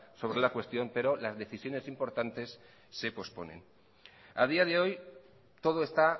sobre la cuestión pero las decisiones importantes se posponen a día de hoy todo está